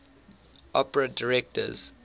opera directors